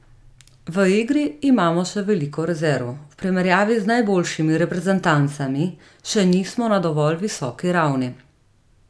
V igri imamo še veliko rezerv, v primerjavi z najboljšimi reprezentancami še nismo na dovolj visoki ravni.